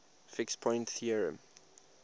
fixed point theorem